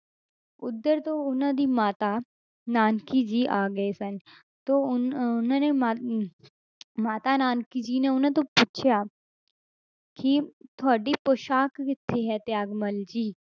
ਉੱਧਰ ਤੋਂ ਉਹਨਾਂ ਦੀ ਮਾਤਾ ਨਾਨਕੀ ਜੀ ਆ ਗਏ ਸਨ ਤੇ ਉਨ~ ਅਹ ਉਹਨਾਂ ਮਰ~ ਅਹ ਮਾਤਾ ਨਾਨਕੀ ਜੀ ਨੇ ਉਹਨਾਂ ਤੋਂ ਪੁੱਛਿਆ ਕਿ ਤੁਹਾਡੀ ਪੁਸਾਕ ਕਿੱਥੇ ਹੈ ਤਿਆਗਮੱਲ ਜੀ।